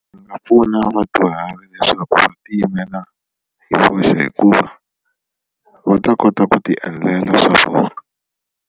Yi nga pfuna vudyuhari leswaku va ti yimela hi voxe hikuva va ta kota ku ti endlela swa vona.